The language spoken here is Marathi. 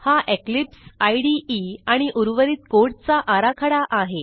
हा इक्लिप्स इदे आणि उर्वरित कोडचा आराखडा आहे